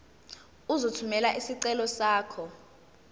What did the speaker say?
uzothumela isicelo sakho